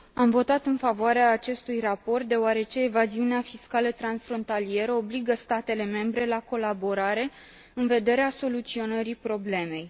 Am votat în favoarea acestui raport, deoarece evaziunea fiscală transfrontalieră obligă statele membre la colaborare în vederea soluționării problemei.